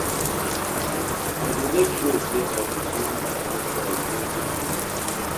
I dey mek sure say I dey sweep my outside evri day